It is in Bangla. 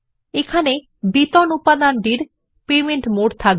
এই উপাদানটি বেতন এর জন্য পেমেন্ট মোড থাকবে